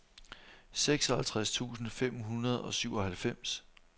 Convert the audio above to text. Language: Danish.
seksoghalvtreds tusind fem hundrede og syvoghalvfems